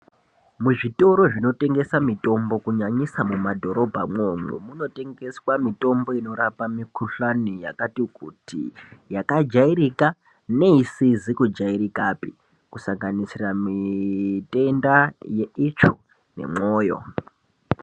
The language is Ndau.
Muzvitoro zvinotengeswa mutombo kunyanyisa mumadhorobhamwo munotengeswa mutombo unorape mikuhlani yakati kuti yakajairika neisizi kujairikapi kusanganisira mitenda yeitsvo nemwoyo.